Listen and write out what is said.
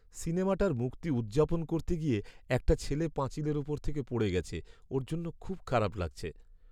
সিনেমাটার মুক্তি উদ্‌যাপন করতে গিয়ে একটা ছেলে পাঁচিলের ওপর থেকে পড়ে গেছে। ওর জন্য খুব খারাপ লাগছে।